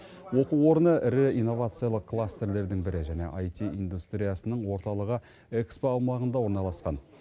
оқу орны ірі инновациялық кластерлердің бірі және айти индустриясының орталығы экспо аумағында орналасқан